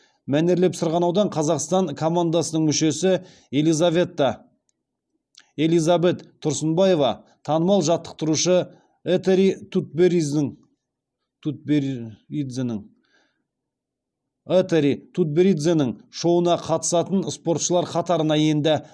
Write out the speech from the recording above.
мәнерлеп сырғанаудан қазақстан командасының мүшесі элизабет тұрсынбаева танымал жаттықтырушы этери тутберидзенің шоуына қатысатын спортшылар қатарына енді